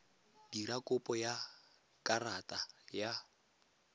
dira kopo ya karata ya